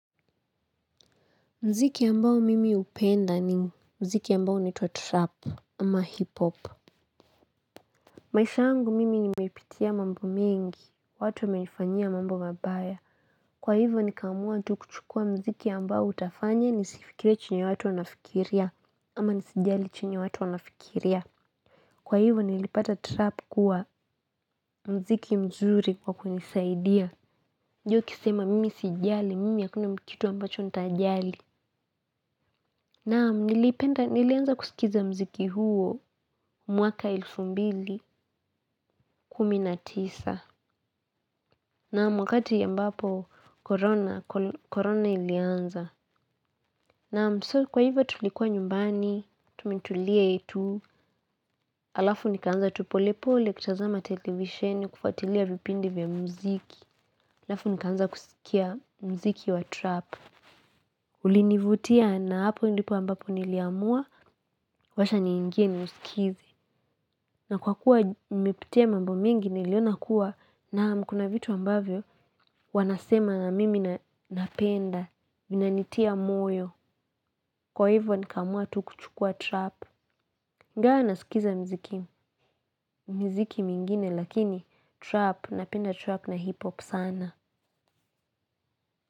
Muziki ambao mimi hupenda ni muziki ambao huitwa trap ama hiphop. Maisha yangu mimi ni meipitia mambo mengi, watu wamenifanyia mambo mabaya. Kwa hivyo ni kamua tu kuchukua muziki ambao utafanya ni sifikirie chenye watu wanafikiria ama nisijali chenye watu wanafikiria. Kwa hivyo nilipata trap kuwa muziki mzuri kwa kunisaidia. Juu ukisema mimi sijali, mimi hakuna kitu ambacho nitajali. Naam nilipenda nilianza kusikiza muziki huo mwaka elfu mbili kumi na tisa naam wakati ambapo korona ilianza naam so kwa hivyo tulikuwa nyumbani tumetulia tu alafu nikaanza tu polepole kutazama televisheni kufuatilia vipindi vya muziki alafu nikaanza kusikia mziki wa trap ulinivutia na hapo ndipo ambapo niliamua wacha niingie ni usikize. Na kwa kuwa nimepitia mambo mingi niliona kuwa naam kuna vitu ambavyo wanasema na mimi napenda, vinanitia moyo. Kwa hivyo nikaamua tu kuchukua trap. Ingawa nasikiza miziki miziki mingine lakini trap napenda trap na hip hop sana.